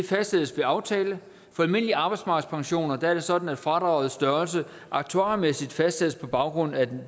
fastsættes ved aftale for almindelige arbejdsmarkedspensioner er det sådan at fradragets størrelse aktuarmæssigt fastsættes på baggrund af